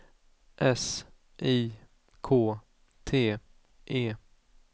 S I K T E